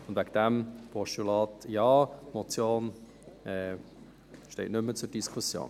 Deswegen: Postulat Ja; die Motion steht nicht mehr zur Diskussion.